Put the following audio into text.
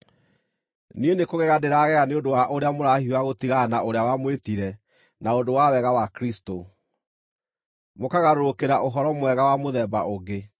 Niĩ nĩkũgega ndĩragega nĩ ũndũ wa ũrĩa mũrahiũha gũtigana na ũrĩa wamwĩtire na ũndũ wa wega wa Kristũ, mũkagarũrũkĩra ũhoro mwega wa mũthemba ũngĩ,